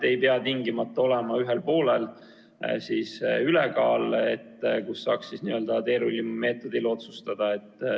Ei pea tingimata olema ühel poolel ülekaal, mis võimaldaks teerulli meetodil otsustada.